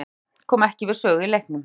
Grétar Rafn kom ekki við sögu í leiknum.